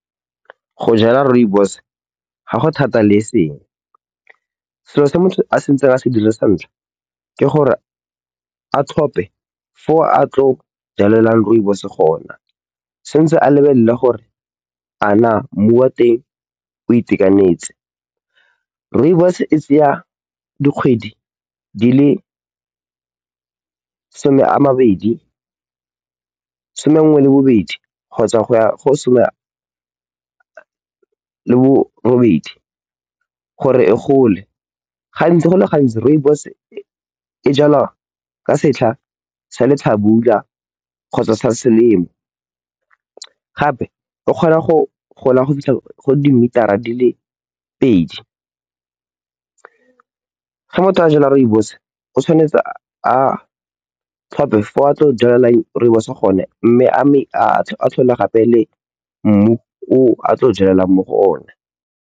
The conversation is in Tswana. Go jwala rooibos ga go thata le eseng. Selo se motho a tshwanetseng a se dire sa ntlha ke gore a tlhope fo a tla jwalang rooibos gona. O tshwanetse a lebelele gore a naa mmu wa teng o itekanetse. Rooibos e tsaya dikgwedi di le some nngwe le bobedi kgotsa go ya go some le borobedi gore e gole. Gantsi go le gantsi, rooibos e jwalwa ka setlha sa letlhabula kgotsa sa selemo, gape e kgona go gola go fitlha go dimitara di le pedi. Fa motho a jwala rooibos o tshwanetse a tlhophe fo a tla jwalang rooibos gone mme a tlhole gape le mmu o a tla jwalang mo go one.